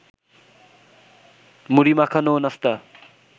মুড়ি মাখানো ও নাস্তা